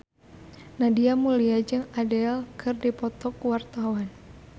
Nadia Mulya jeung Adele keur dipoto ku wartawan